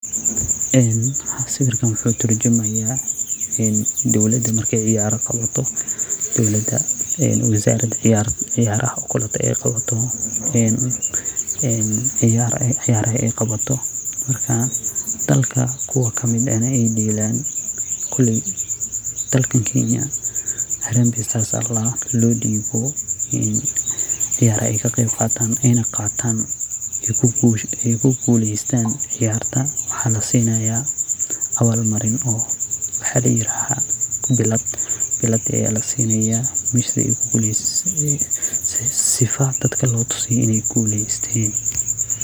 Een sawirkan waxu turjumaya ee dowladaa marke ciyaaro qabato dawladaa ee wizarada ciyaaraha oo kale ey qabato ee een ciyaraha ey qabato marka daalka kuwa kamiid ah ey deelan Kaleydaalkan Kenya harambee stars aa ladahaa in lo diibo ciyara ey Kaqeb qatan ey na qatan ey kuguulestan ciyarta waxa lasinayaa awaal Mariin oo waxa layirahdaa bilad. Bilada Aya lasiinayaa mise ee kuguulysan sifaha dadka lo tusiyaa ineey guulesteen .